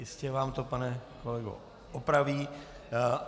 Jistě vám to, pane kolego, opraví.